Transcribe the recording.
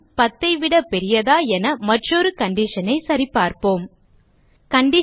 10 ஐ விட பெரியதா என மற்றொரு கண்டிஷன் ஐ சரிபார்ப்போம் கண்டிஷன்